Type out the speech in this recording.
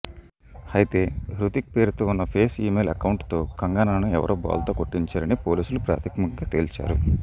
అయితే హృతిక్ పేరుతో ఉన్న ఫేస్ ఈమెయిల్ అకౌంటుతో కంగనాను ఎవరో బోల్తా కొట్టించారని పోలీసులు ప్రాథమికంగా తేల్చారు